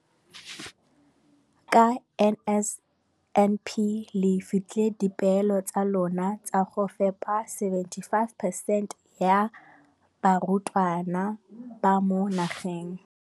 Ka NSNP le fetile dipeelo tsa lona tsa go fepa masome a supa le botlhano a diperesente ya barutwana ba mo nageng.